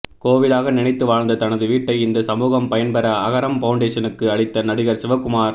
கோவிலாக நினைத்து வாழ்ந்த தனது வீட்டை இந்த சமூகம் பயன் பெற அகரம் பௌண்டேஷனுக்கு அளித்த நடிகர் சிவகுமார்